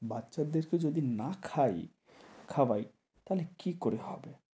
বাচ্চাদেরকে যদি না খাই খাওয়াই তাহলে কী করে হবে?